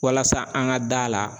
Walasa an ka da la.